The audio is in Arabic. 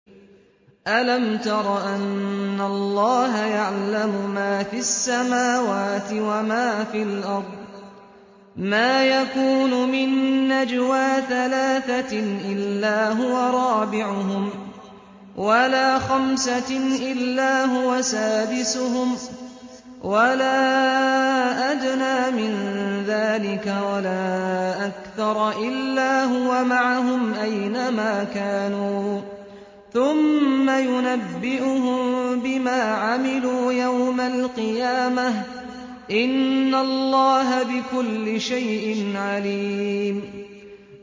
أَلَمْ تَرَ أَنَّ اللَّهَ يَعْلَمُ مَا فِي السَّمَاوَاتِ وَمَا فِي الْأَرْضِ ۖ مَا يَكُونُ مِن نَّجْوَىٰ ثَلَاثَةٍ إِلَّا هُوَ رَابِعُهُمْ وَلَا خَمْسَةٍ إِلَّا هُوَ سَادِسُهُمْ وَلَا أَدْنَىٰ مِن ذَٰلِكَ وَلَا أَكْثَرَ إِلَّا هُوَ مَعَهُمْ أَيْنَ مَا كَانُوا ۖ ثُمَّ يُنَبِّئُهُم بِمَا عَمِلُوا يَوْمَ الْقِيَامَةِ ۚ إِنَّ اللَّهَ بِكُلِّ شَيْءٍ عَلِيمٌ